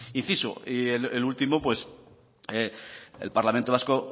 inciso y el último pues el parlamento vasco